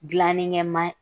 Dilani kɛ ma